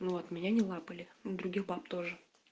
вот меня не лапали ну других баб тоже